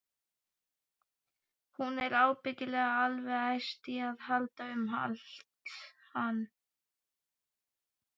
Hún er ábyggilega alveg æst í að halda um hann.